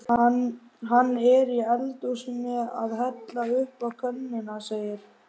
Hann er í eldhúsinu að hella uppá könnuna segir